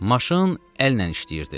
Maşın əllə işləyirdi.